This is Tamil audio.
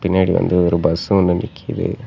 பின்னாடி வந்து ஒரு பஸ் ஒன்னு நிக்கிது.